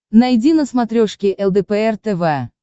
найди на смотрешке лдпр тв